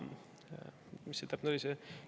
Mis see täpne oli?